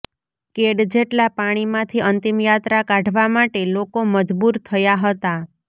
કેડ જેટલા પાણીમાંથી અંતિમયાત્રા કાઢવા માટે લોકો મજબૂર થયા હતા